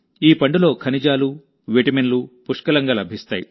ఈ పండులో ఖనిజాలు విటమిన్లు పుష్కలంగా లభిస్తాయి